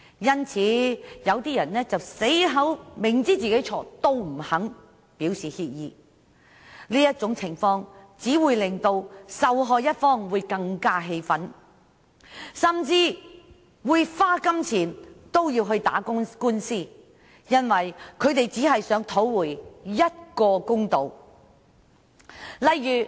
因此，有些人明知是自己的錯，也不肯表示歉意，這種情況只會令受害一方更為氣憤，不惜花錢進行訴訟，為的只是要討回公道。